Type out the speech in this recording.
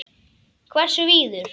Hversu víður?